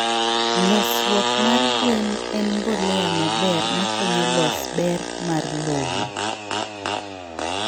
Losruok mar gwen en mbolea maber makonyo los ber mar lowo